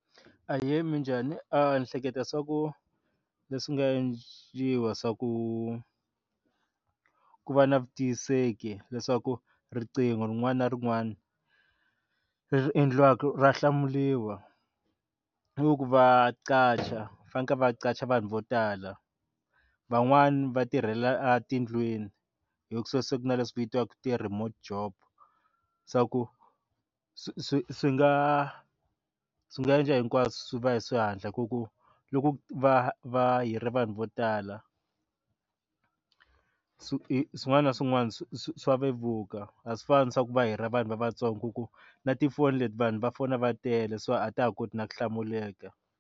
Ahee, minjhani ni hleketa swa ku leswi nga endliwa swa ku ku va na vutiyiseki leswaku riqingho rin'wana na rin'wana ri endliwaka ra hlamuriwa ku va qacha faneke va qacha vanhu vo tala van'wani va tirhela a tindlwini leswi swi vitiwaka ku ri hi ti-remote job swa ku swi swi swi nga swi nga endla hinkwaswo swi va hi swi hatla ku ku loku va va hiri vanhu vo tala swi hi swin'wana na swin'wana swa vevuka a swi fani swa ku va hira vanhu lavatsongo ku na tifoni leti vanhu va fona va tele so a ta ha koti na ku hlamuleka.